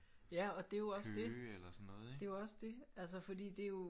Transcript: Ja og det er jo også det det er jo også det altså fordi det er jo